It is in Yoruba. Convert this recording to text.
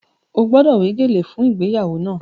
Ó gbọ́dọ̀ wé gèlè fún ìgbéyàwó náà!